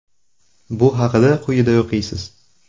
Bu haqida quyida o‘qiysiz.